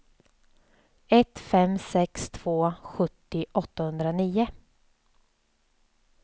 ett fem sex två sjuttio åttahundranio